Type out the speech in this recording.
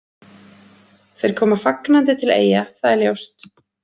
Þeir koma fagnandi til Eyja, það er ljóst.